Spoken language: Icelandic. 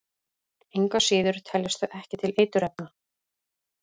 Engu að síður teljast þau ekki til eiturefna.